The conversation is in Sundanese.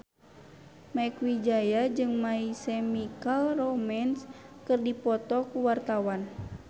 Mieke Wijaya jeung My Chemical Romance keur dipoto ku wartawan